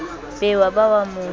be wa ba wa mo